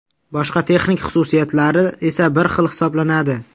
Boshqa texnik xususiyatlari esa bir xil hisoblanadi.